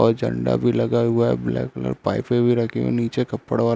और झण्डा भी लगा हुआ है ब्लैक कलर पाइपे भी रखी हुई है नीचे कपड़ा--